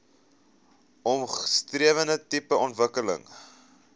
omskrewe tipe ontwikkeling